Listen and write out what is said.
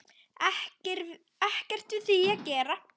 Ekkert við því að gera.